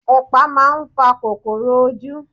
Ẹpa máa ń fa kòkòrò ojú.